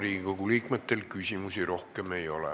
Riigikogu liikmetel küsimusi rohkem ei ole.